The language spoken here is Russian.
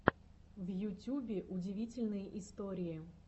в ютюбе удивительные истории